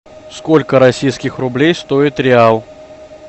сколько российских рублей стоит реал